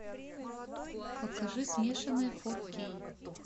покажи смешанные фор кей